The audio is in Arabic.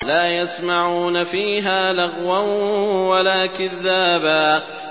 لَّا يَسْمَعُونَ فِيهَا لَغْوًا وَلَا كِذَّابًا